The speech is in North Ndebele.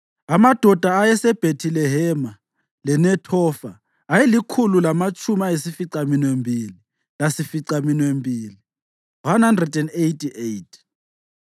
amadoda ayeseBhethilehema leNethofa ayelikhulu lamatshumi ayisificaminwembili lasificaminwembili (188),